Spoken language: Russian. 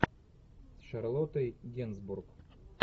с шарлоттой генсбур